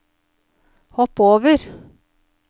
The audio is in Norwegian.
hopp over